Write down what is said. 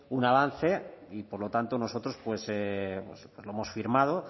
un avance y por lo tanto nosotros lo hemos firmado